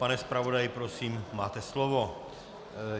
Pane zpravodaji, prosím, máte slovo.